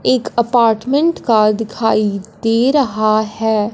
एक अपार्टमेंट का दिखाई दे रहा है।